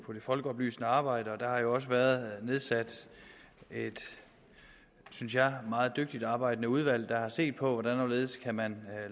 folkeoplysende arbejde der har jo også været nedsat et synes jeg meget dygtigt arbejdende udvalg der har set på hvordan og hvorledes man